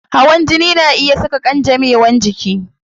Hawan jini na iya saka kangamewan jiki